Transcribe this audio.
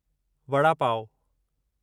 vada pav